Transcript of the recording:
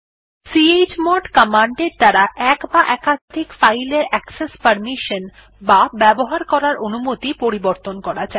chmod command এর দ্বারা এক বা একাধিক ফাইল এর অ্যাকসেস পারমিশন বা ব্যবহার করার অনুমতি পরিবর্তন করা যায়